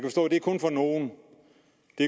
det